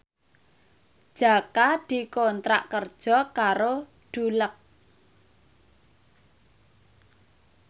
Jaka dikontrak kerja karo Dulux